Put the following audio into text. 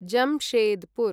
Jamshedpur